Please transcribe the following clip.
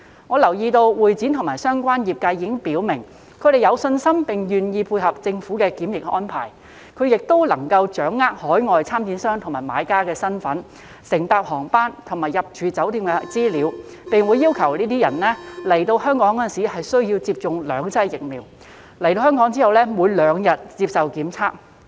我留意到會展及相關業界已表明，他們有信心並願意配合政府的檢疫安排，而且他們亦能夠掌握海外參展商和買家的身份、乘搭航班和入住酒店的資料，並會要求有關人士來港前需要接種兩劑疫苗，以及抵港後每兩天接受檢測。